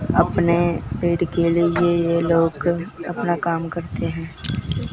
अपने पेट के लिए ये लोग अपना काम करते है।